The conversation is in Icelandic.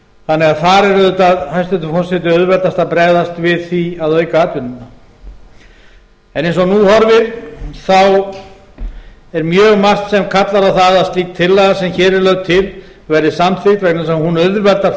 þannig að þar er auðvitað hæstvirtur forseti auðveldast að bregðast við því að auka atvinnuna en eins og nú horfir þá er mjög margt sem kallar á það slík tillaga sem hér er lögð til verði samþykkt vegna þess að hún auðveldar